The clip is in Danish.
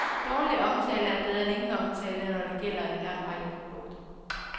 Dårlig omtale er bedre end ingen omtale, når det gælder en række produkter.